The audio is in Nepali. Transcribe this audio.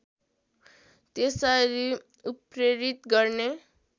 त्यसरी उत्प्रेरित गर्ने